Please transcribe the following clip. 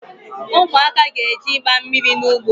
Ụmụaka ga-eje ịgba mmiri n’ugbo